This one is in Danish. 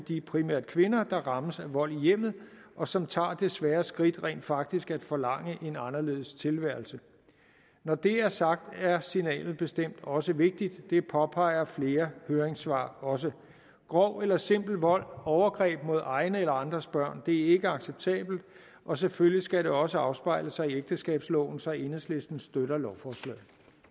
primært de kvinder der rammes af vold i hjemmet og som tager det svære skridt rent faktisk at forlange en anderledes tilværelse når det er sagt er signalet bestemt også vigtigt det påpeger flere høringssvar også grov eller simpel vold overgreb mod egne eller andres børn er ikke acceptabelt og selvfølgelig skal det også afspejle sig i ægteskabsloven så enhedslisten støtter lovforslaget